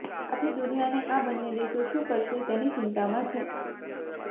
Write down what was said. આખી દુનિયાને આ બંને દેશો શુ કરશે તેની ચિંતામાં છે